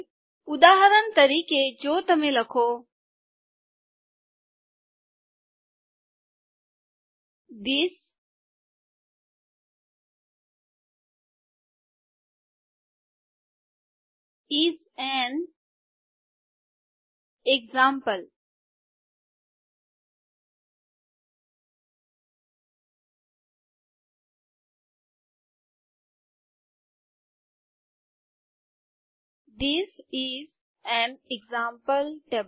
ઉદાહરણ તરીકે જો તમે લખો this is an example this is an example table